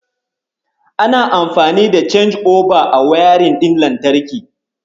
Ana amfani da canji'oba a wayarin ɗin lantarki.